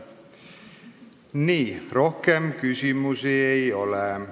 Nii, rohkem küsimusi ei ole.